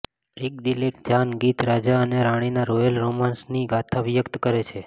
એક દિલ એક જાન ગીત રાજા અને રાણીના રોયલ રોમાન્સની ગાથા વ્યકત કરે છે